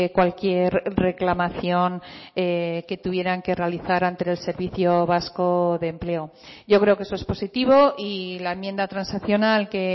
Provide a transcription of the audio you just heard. cualquier reclamación que tuvieran que realizar ante el servicio vasco de empleo yo creo que eso es positivo y la enmienda transaccional que